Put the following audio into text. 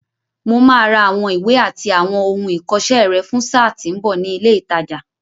Mo máa ra àwọn ìwé àti àwọn ohun ìkọṣẹ́ rẹ fún sáà tí ń bọ̀ ní ilé ìtajà.